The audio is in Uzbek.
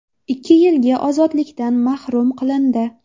ikki yilga ozodlikdan mahrum qilindi.